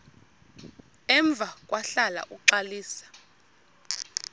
emva kwahlala uxalisa